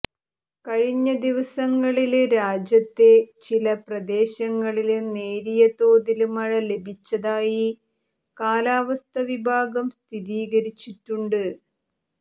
കഴിഞ്ഞ ദിവസങ്ങളില് രാജ്യത്തെ ചില പ്രദേശങ്ങളില് നേരിയ തോതില് മഴ ലഭിച്ചതായി കാലാവസ്ഥ വിഭാഗം സ്ഥിരീകരിച്ചിട്ടുണ്ട്